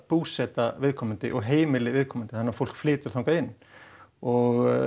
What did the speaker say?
búseta viðkomandi og heimili viðkomandi þannig að fólk flytur þangað inn og